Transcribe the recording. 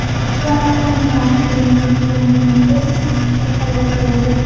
Samarqand va Andijondagi yong‘inlarda ikki kishi halok bo‘ldi.